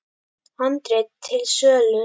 Handrit til sölu.